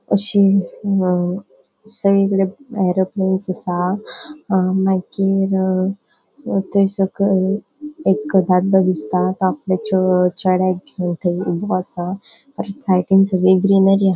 आशे अ ऐरोप्लैनस असा मागिर थंय सकयल एक दादलों दिसता तो आपले चेंढ्याक घेऊन थंय ऊबो असा ताचा साइडीन सोबित ग्रीनरी हा.